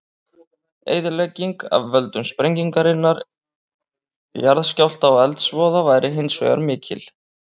Eyðilegging af völdum sprengingarinnar, jarðskjálfta og eldsvoða væri hins vegar mikil.